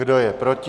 Kdo je proti?